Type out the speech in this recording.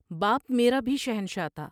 باپ میرا بھی شہنشاہ تھا ۔